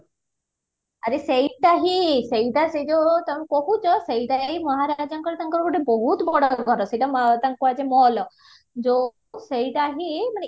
ଆରେ ସେଇଟା ହିଁ ସେଇଟା ସେଇ ଯୋଉ ତମେ କହୁଚ ସେଇଟା ଯାଇଙ୍କି ମହାରାଜାଙ୍କର ତାଙ୍କର ଗୋଟେ ବୋହୁତ ବଡ ଘର ସେଇଟା ତାଙ୍କୁ କୁହାଯାଏ ମହଲ ଯୋଉ ସେଇଟା ହିଁ ମାନେ